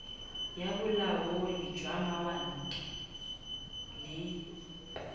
ya bolaodi jwa mawatle le